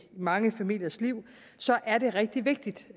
mange familiers liv er det rigtig vigtigt